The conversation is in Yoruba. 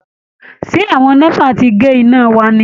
Ṣé àwọn NEPA ti gé iná wa ni?